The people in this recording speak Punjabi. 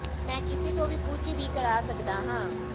ਮੈਂ ਕਿਸੀ ਤੋਂ ਵੀ ਕੁੱਝ ਵੀ ਕਰਾਂ ਸਕਦਾ ਹਾਂ